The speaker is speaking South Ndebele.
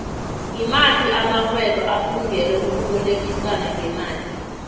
ngimaphi amaxhhwebo afungele ukubolekisano ngemali